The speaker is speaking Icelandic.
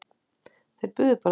Þeir buðu bara tíu.